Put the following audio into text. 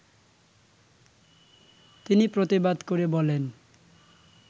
তিনি প্রতিবাদ করে বলেন